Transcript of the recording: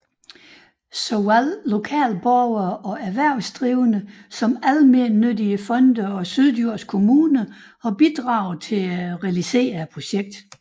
Såvel lokale borgere og erhvervsdrivende som almennyttige fonde og Syddjurs Kommune har bidraget til at realisere projektet